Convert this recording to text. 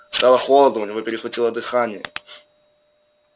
стало холодно у него перехватило дыхание